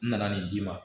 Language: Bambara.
N nana nin d'i ma